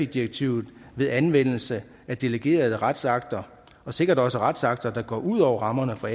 direktivet ved anvendelse af delegerede retsakter og sikkert også retsakter der går ud over rammerne for